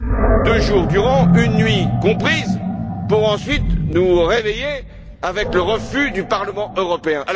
en deux jours, nuit comprise, pour ensuite nous réveiller avec le refus du Parlement européen.